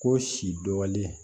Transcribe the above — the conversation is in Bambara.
Ko si dɔɔnin